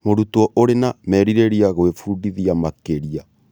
Mũrutwo ũrĩ na merirĩria gwĩbundithia makĩria.